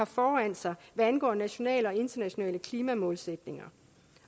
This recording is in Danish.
foran hvad angår nationale og internationale klimamålsætninger